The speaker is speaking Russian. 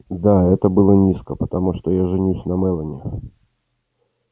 да это было низко потому что я женюсь на мелани